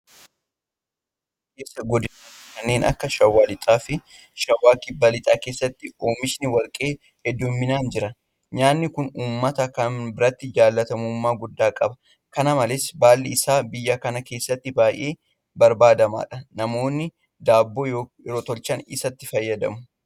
Naannoo Oromiyaa keessaa godinaalee kanneen akka shawaa Lixaafi shawaa kibba lixaa keessatti oomishni Warqee heddumminaan jira. Nyaanni kun uummata kana biratti jaalatamummaa guddaa qaba. Kana malees baalli isaa biyya kana keessatti baay'ee barbaadamaadha. Namoonni Daabboo yeroo tolchan isatti fayyadamu.